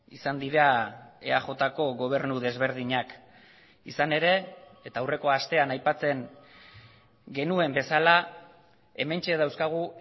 izan dira eajko gobernu desberdinak izan ere eta aurreko astean aipatzen genuen bezala hementxe dauzkagu